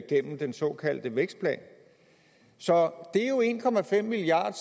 gennem den såkaldte vækstplan så det er jo en milliard